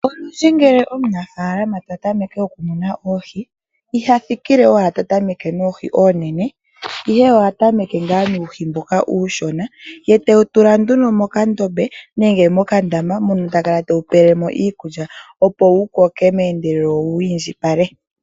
Olundji ngele omunafaalama ta tameke okumuna oohi, iha thikile owala ta tameke noohi oonene, ihe oha tameke ngaa nuuhi mboka uushona, ye tewu tula nduno mokandombe nenge mokandama moka ta kala tewu pele mo iikulya, opo wu koke meendelelo wo wi indjipale.